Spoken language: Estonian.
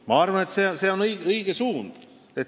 Ma arvan, et see on õige suund.